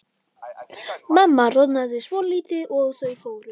Mamma roðnaði svolítið og þau fóru.